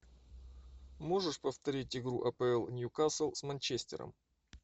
можешь повторить игру апл ньюкасл с манчестером